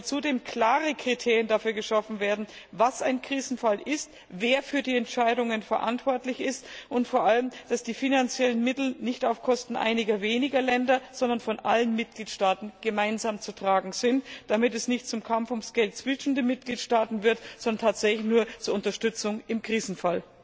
Zudem sollten klare Kriterien dafür geschaffen werden, was ein Krisenfall ist, wer für die Entscheidungen verantwortlich ist, und vor allem dass die finanziellen Mittel nicht zu Lasten einiger weniger Länder gehen, sondern von allen Mitgliedstaaten gemeinsam zu tragen sind, damit es nicht zu einem Kampf ums Geld zwischen den Mitgliedstaaten kommt, sondern tatsächlich nur um die Unterstützung im Krisenfall geht.